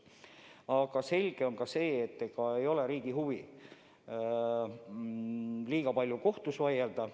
Aga selge on ka see, et riigil pole huvi liiga palju kohtus vaielda.